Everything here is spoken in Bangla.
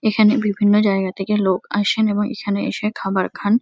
এখানে বিভিন্ন জায়গা থেকে লোক আসেন এবং এখানে এসে খাবার খান।